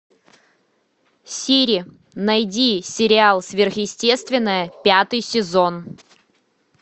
сири найди сериал сверхъестественное пятый сезон